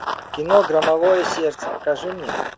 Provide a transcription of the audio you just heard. кино громовое сердце покажи мне